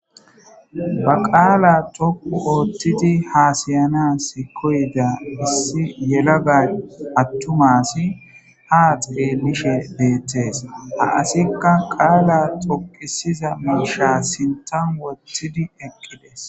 Ba qaala toku oottidi haasayanas koyga bissi yelaga attumasi haaxige bishe beettees ha asikka qaala toqisiza muusha sintan wottidi eqqidees.